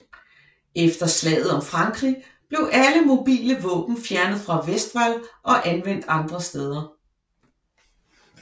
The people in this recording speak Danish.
Efter slaget om Frankrig blev alle mobile våben fjernet fra Westwall og anvendt andre steder